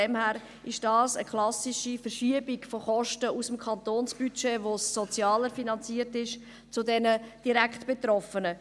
Deshalb ist das eine klassische Verschiebung der Kosten aus dem Kantonsbudget, mit dem das Soziale finanziert ist, hin zu den Direktbetroffenen.